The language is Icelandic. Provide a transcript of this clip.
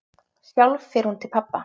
Sjálf fer hún til pabba.